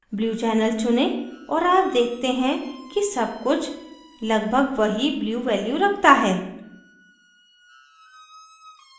blue channel चुनें और आप देखते हैं कि सब कुछ लगभग वही blue value रखता है